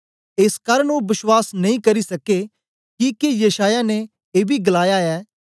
एस कारन ओ बश्वास नेई करी सके किके यशायाह ने एबी गलाया ऐ